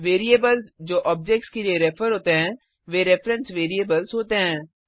variables जो objects के लिए रेफर होते हैं वे रेफरेंस वेरिएबल्स होते हैं